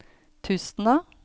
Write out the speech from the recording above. Tustna